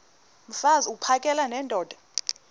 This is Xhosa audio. mfaz uphakele nendoda